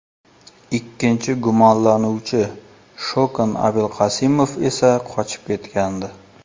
Ikkinchi gumonlanuvchi Shokan Abilqasimov esa qochib ketgandi.